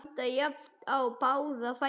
Standa jafnt í báða fætur.